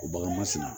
O bagan ma sina